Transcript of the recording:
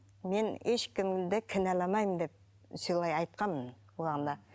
мен ешкімді кінәламаймын деп солай айтқанмын